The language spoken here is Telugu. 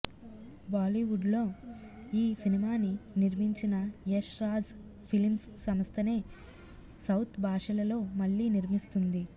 బాలీవుడ్లో ఈ సినిమాని నిర్మించిన యష్ రాజ్ ఫిలిమ్స్ సంస్థ నే సౌత్ బాషలలో మళ్ళీ నిర్మిస్తుంది